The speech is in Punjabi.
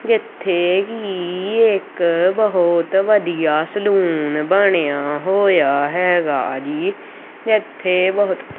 ਇੱਥੇ ਹੀ ਇੱਕ ਬਹੁਤ ਵਧੀਆ ਸਲੂਨ ਬਣਿਆ ਹੋਇਆ ਹੈਗਾ ਜੀ ਇੱਥੇ ਬਹੁਤ--